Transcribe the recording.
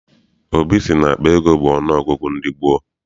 Obi sị na akpa ego bụ ọnụ ọgụgụ ndị gboo.